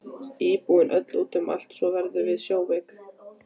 Íbúðin öll út um allt svo heldur við sjóveiki.